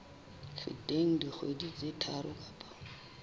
feteng dikgwedi tse tharo kapa